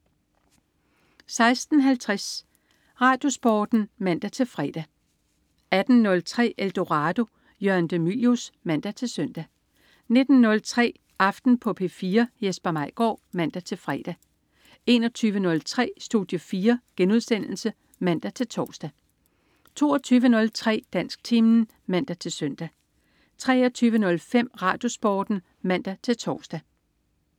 16.50 RadioSporten (man-fre) 18.03 Eldorado. Jørgen de Mylius (man-søn) 19.03 Aften på P4. Jesper Maigaard (man-fre) 21.03 Studie 4* (man-tors) 22.03 Dansktimen (man-søn) 23.05 RadioSporten (man-tors)